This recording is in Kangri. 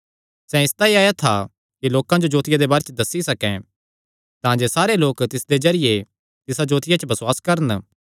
सैह़ इसतांई आया था कि लोकां जो जोतिया दे बारे च दस्सी सकैं तांजे सारे लोक तिसदे जरिये तिसा जोतिया च बसुआस करन